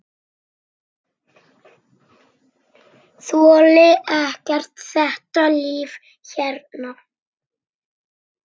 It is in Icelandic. Þoli ekki þetta líf hérna.